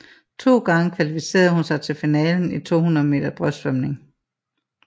To gange kvalificerede hun sig til finalen i 200 meter brystsvømning